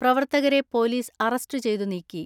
പ്രവർത്തകരെ police arrest ചെയ്തു നീക്കി.